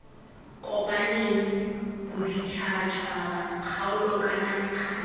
kopaneng boditšhabatšhaba kgaolo kana mekgatlho